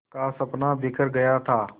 का सपना बिखर गया था